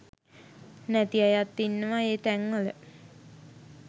නැති අයත් ඉන්නවා ඒ තැන්වල